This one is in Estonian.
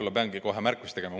Ma pean kohe ühe märkuse tegema.